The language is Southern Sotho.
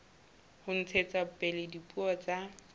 ho ntshetsa pele dipuo tsa